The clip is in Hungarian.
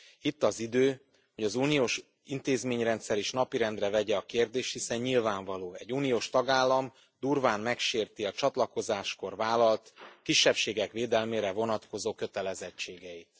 Itt az idő, hogy az uniós intézményrendszer is napirendre vegye a kérdést, hiszen nyilvánvaló egy uniós tagállam durván megsérti a csatlakozáskor vállalt, a kisebbségek védelmére vonatkozó kötelezettségeit.